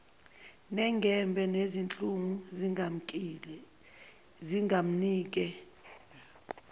nengebhe nezinhlungu zingamnike